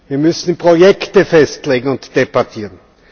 Wir müssen Projekte festlegen und diese debattieren.